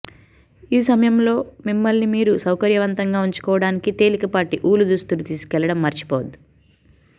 ఈ సమయంలో మిమ్మల్నిమీరు సౌకర్యవంతంగా ఉంచుకోవడానికి తేలికపాటి ఊలు దుస్తులు తీసుకెళ్లడం మర్చిపోవద్దు